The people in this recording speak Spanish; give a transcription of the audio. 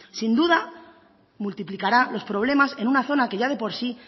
sin duda multiplicará los problemas en una zona que ya de por sí